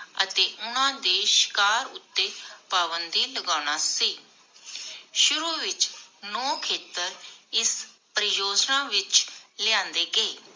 ਅਤੇ ਉਣਾਂਦੇ ਸ਼ਿਕਾਰ ਉਤੇ ਪਾਬੰਦੀ ਲਗਾਨਾ ਸੀ। ਸ਼ੁਰੂ ਵਿਚ ਨੌ ਖੇਤਰ ਇਸ ਪਰਿਯੋਜਨਾ ਵਿਚ ਲਿਆਂਦੇ